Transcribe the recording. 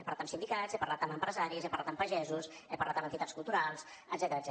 he parlat amb sindicats he parlat amb empresaris he parlat amb pagesos he parlat amb entitats culturals etcètera